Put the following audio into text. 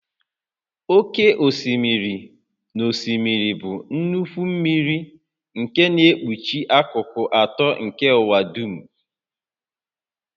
Oké osimiri na osimiri bụ nnukwu mmiri nke na-ekpuchi akụkụ atọ nke ụwa dum